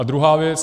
A druhá věc.